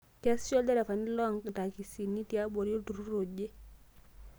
Keesisho lderefani loo ntakisini tiabori olturrur oje